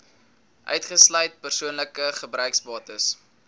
uitgesluit persoonlike gebruiksbates